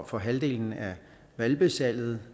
for halvdelen af hvalpesalget